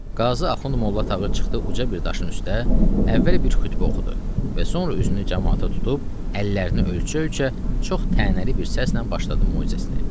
Qazı Axund Molla Tağı çıxdı uca bir daşın üstə, əvvəl bir xütbə oxudu və sonra üzünü camaata tutub əllərini ölçə-ölçə çox tənəli bir səslə başladı möizəsini.